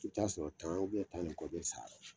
I bɛ ta'a sɔrɔ tan tan ni kɔ bɛ sa a la